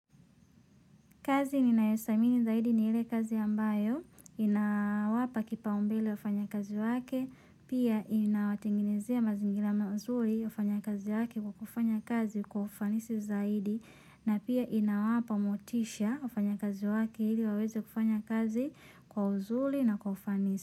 Kazi ninayosamini zaidi ni ile kazi ambayo, inawapa kipao mbele wafanya kazi wake, pia inawatengenezea mazingira mazuri wafanya kazi wake kwa kufanya kazi kwa ufanisi zaidi, na pia inawapa motisha wafanya kazi wake ili waweze kufanya kazi kwa uzuri na kwa ufanisi.